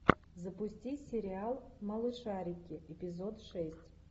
запусти сериал малышарики эпизод шесть